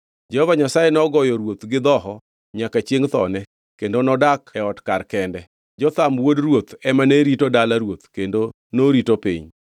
Jehova Nyasaye nogoyo ruoth gi dhoho nyaka chiengʼ thone, kendo nodak e ot kar kende. Jotham wuod ruoth ema ne rito dala ruoth kendo norito piny.